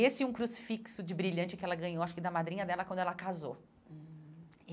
Esse e um crucifixo de brilhante que ela ganhou, acho que da madrinha dela quando ela casou hum.